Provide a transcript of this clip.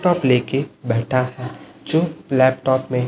cup ले के बैठा है जो लैपटॉप में--